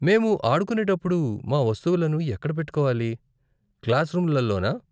మేము ఆడుకునేటప్పుడు మా వస్తువులను ఎక్కడ పెట్టుకోవాలి, క్లాస్ రూములలోనా?